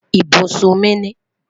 Ibusun mi ni